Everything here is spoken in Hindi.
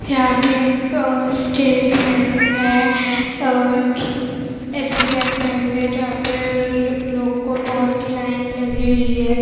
यहां पे एक स्टेट बैंक है और एसबीआई बैंक है जहां पे लोग को बहुत लाइन लगी हुई है।